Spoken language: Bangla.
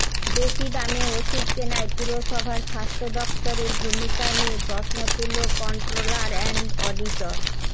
বেশি দামে ওষুধ কেনায় পুরসভার স্বাস্থ্য দফতরের ভূমিকা নিয়ে প্রশ্ন তুলল কন্ট্রোলার অ্যান্ড অডিটর